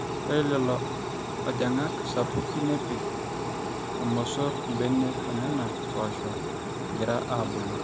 ore lelo ajang'ak sapuki nepik irmosor imbenek oonena poosho egira aabulu